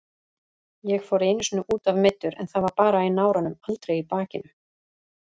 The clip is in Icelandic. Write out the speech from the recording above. Ég fór einu sinni útaf meiddur en það var bara í náranum, aldrei í bakinu.